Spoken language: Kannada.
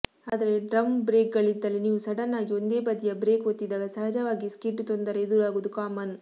ಅದೇ ಡ್ರಮ್ ಬ್ರೇಕ್ಗಳಿದ್ದಲ್ಲಿ ನೀವು ಸಡನ್ ಆಗಿ ಒಂದೇ ಬದಿಯ ಬ್ರೇಕ್ ಒತ್ತಿದಾಗ ಸಹಜವಾಗಿ ಸ್ಕಿಡ್ ತೊಂದರೆ ಎದುರಾಗುವುದು ಕಾಮನ್